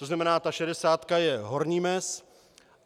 To znamená, ta šedesátka je horní mez.